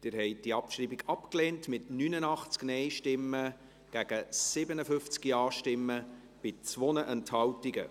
Sie haben diese Abschreibung abgelehnt, mit 89 Nein- gegen 57 Ja-Stimmen bei 2 Enthaltungen.